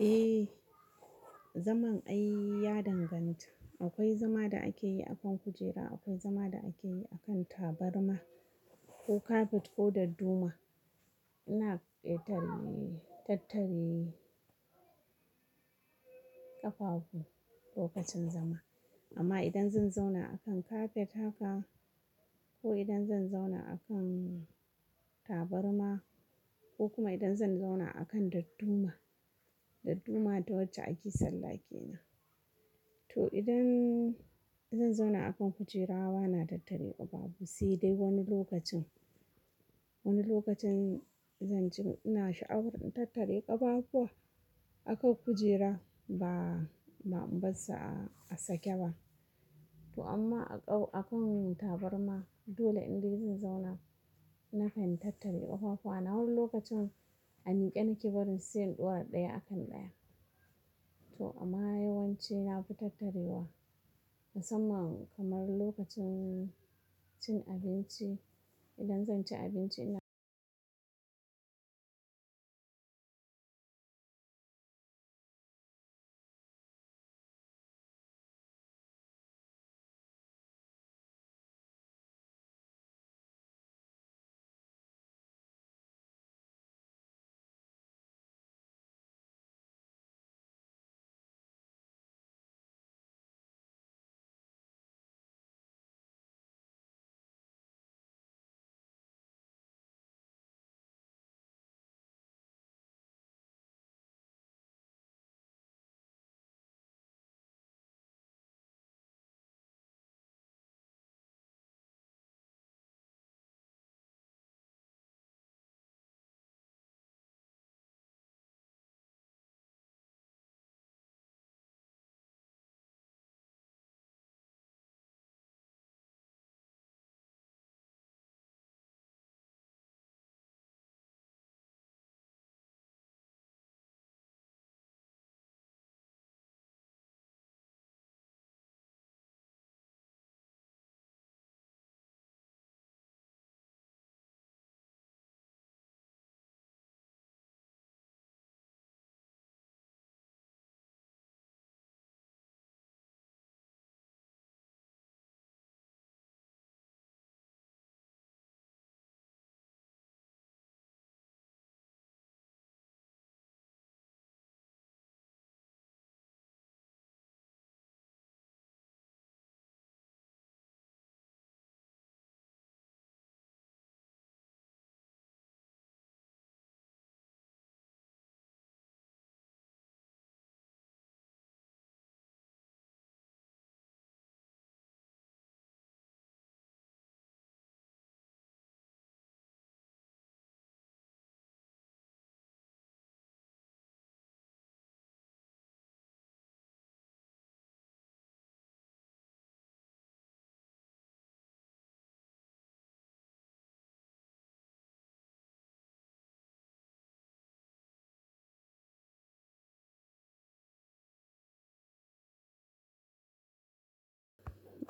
Eh, zaman ai ya danganta. Akwai zama da ake yi akan kujera, akwai zama da ake yi akan tabarma ko kafet ko dadduma. Ina ƙetare tattare ƙafafu lokacin zama. Amma idan zan zauna akan kafet haka ko idan zan zauna akan tabarma ko kuma idan zan zauna akan dadduma, dadduma ta wacce ake salla ke nan. To idan zan zauna akan kujera, ba na tattare ƙafafu, sai dai wani lokacin, wani lokacin zan ci ina sha'awar in tattare ƙafafuwa akan kujera ba, ba, inbar sa a sake ba. To amma a kau-- akan tabarma dole in dai zan zauna nakan tattare ƙafafuwa. Na lokacin a mike nake barin su sai in ɗora ɗaya akan ɗaya. To amma yawanci na fi tattarewa musamman kamar lokacin cin abinci. Idan zan ci abinci ina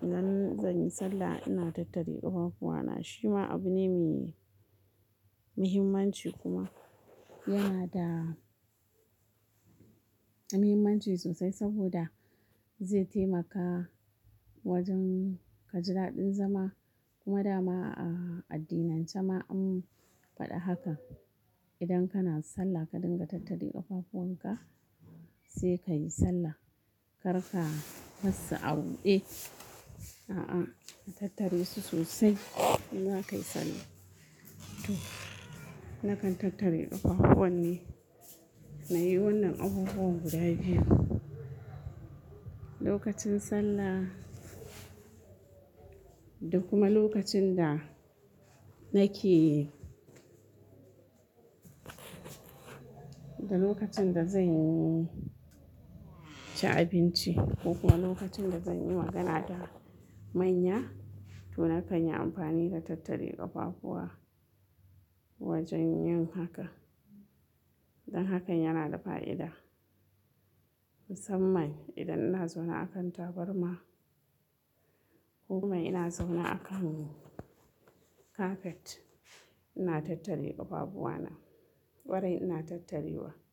zan, zan yi sallah ina tattare ƙafafuwana. Shi ma abu ne mai muhimmanci kuma yana da muhimmanci sosai saboda zai taimaka wajen ka ji daɗin zama kuma dama a addinance ma an faɗa haka. Idan kana sallah ka dinga tattare ƙafafuwan ka sai ka yi sallah. Kar ka barsa a buɗe. A'a, ka tattare su sosai in za ka yi sallah. To nakan tattare ƙafafuwan ne. Na yi wannan abubuwa guda biyu. Lokacin sallah da kuma lokacin da nake da lokacin da zan ci abinci ko kuma lokacin da zan yi magana da manya to nakan yi amfani da tattare ƙafafuwa wajen yin haka. Dan hakan yana da fa'ida musamman idan ina zaune akan tabarma ko kuma ina zaune akan kafet ina tattare ƙafafuwana. Kwarai ina tattarewa.